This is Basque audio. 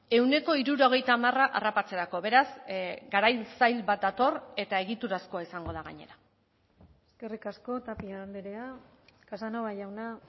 ehuneko hirurogeita hamar harrapatzerako beraz garai zail bat dator eta egiturazkoa izango da gainera eskerrik asko tapia andrea casanova jauna